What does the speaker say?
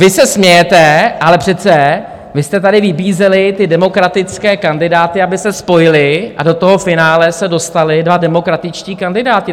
Vy se smějete, ale přece vy jste tady vybízeli ty demokratické kandidáty, aby se spojili, a do toho finále se dostali dva demokratičtí kandidáti.